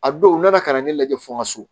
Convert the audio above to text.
A don u nana ka na ne lajɛ fo n ka so